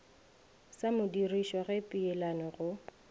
sa modirišo ge peelano go